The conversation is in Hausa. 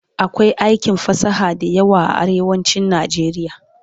akwai aikin fasaha da yawa a arewacin nijeriya